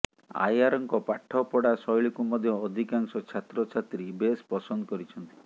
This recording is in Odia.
ଆୟାରଙ୍କ ପାଠ ପଢ଼ା ଶୈଳୀକୁ ମଧ୍ୟ ଅଧିକାଂଶ ଛାତ୍ରଛାତ୍ରୀ ବେଶ୍ ପସନ୍ଦ କରିଛନ୍ତି